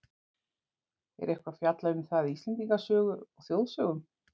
er eitthvað fjallað um það í íslendingasögu og þjóðsögum